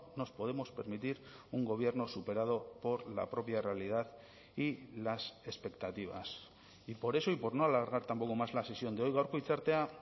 nos podemos permitir un gobierno superado por la propia realidad y las expectativas y por eso y por no alargar tampoco más la sesión de hoy gaurko hitzartea